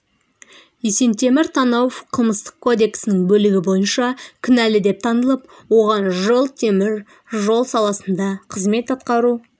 есентемір танауов қылмыстық кодексінің бөлігі бойынша кінәлі деп танылып оған жыл темір жол саласында қызмет атқару